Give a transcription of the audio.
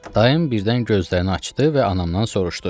Dayım birdən gözlərini açdı və anamdan soruşdu: